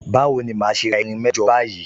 Bawo ni màá ṣe ra irin mẹ́jọ báyìí?